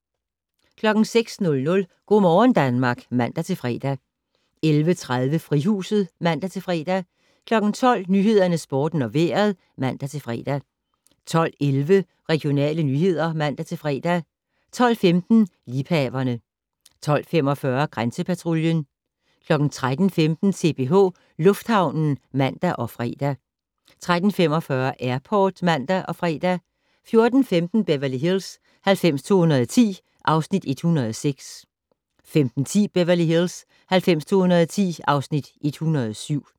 06:00: Go' morgen Danmark (man-fre) 11:30: Frihuset (man-fre) 12:00: Nyhederne, Sporten og Vejret (man-fre) 12:11: Regionale nyheder (man-fre) 12:15: Liebhaverne 12:45: Grænsepatruljen 13:15: CPH Lufthavnen (man og fre) 13:45: Airport (man og fre) 14:15: Beverly Hills 90210 (Afs. 106) 15:10: Beverly Hills 90210 (Afs. 107)